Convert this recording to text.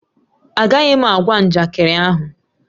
Agaghị m agwa njakịrị ahụ